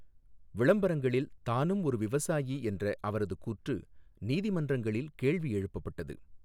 விளம்பரங்களில் தானும் ஒரு விவசாயி என்ற அவரது கூற்று நீதிமன்றங்களில் கேள்வி எழுப்பப்பட்டது.